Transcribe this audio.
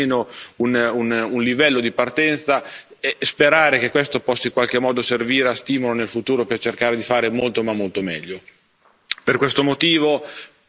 Meglio partire da qualcosa, meglio creare almeno un livello di partenza e sperare che questo possa in qualche modo servire da stimolo nel futuro per cercare di fare molto ma molto meglio.